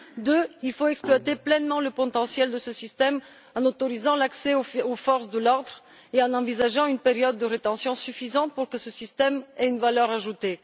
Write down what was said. Deuxièmement, il faut exploiter pleinement le potentiel de ce système en autorisant l'accès aux forces de l'ordre et en envisageant une période de rétention suffisante pour que ce système ait une valeur ajoutée.